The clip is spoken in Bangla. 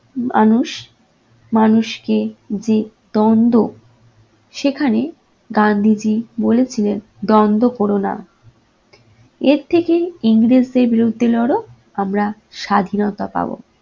মানুষ মানুষকে যে দ্বন্দ্ব সেখানে গান্ধীজী বলেছিলেন দ্বন্দ্ব করো না, এর থেকে ইংরেজদের বিরুদ্ধে লড় আমরা স্বাধীনতা পাব।